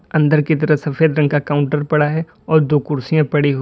अंदर की तरफ सफेद रंग का काउंटर पड़ा है और दो कुर्सियां पड़ी हुई--